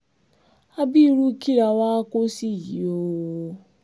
àbí irú kí la wáá kó sí yìí oòó